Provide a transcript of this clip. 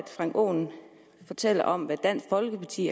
frank aaen fortæller om hvad dansk folkeparti